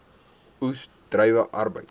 oes druiwe arbeid